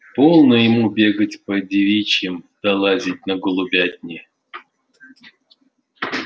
полно ему бегать по девичьим да лазить на голубятни